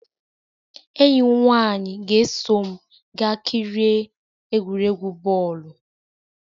Enyi m nwanyị ga-eso m gaa kirie egwuregwu bọọlụ.